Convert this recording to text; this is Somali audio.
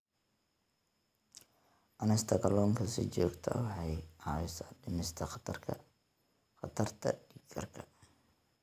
Cunista kalluunka si joogto ah waxay caawisaa dhimista khatarta dhiig karka.